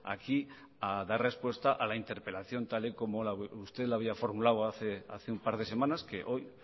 aquí a dar respuesta a la interpelación tal y como usted la había formulado hace un par de semanas que hoy